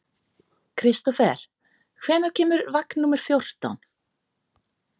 Kristofer, hvenær kemur vagn númer fjórtán?